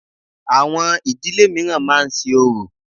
Àwọn ìdílé mìíràn máa ń ṣe orò.